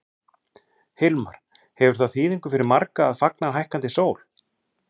Hilmar, hefur það þýðingu fyrir marga að fagna hækkandi sól?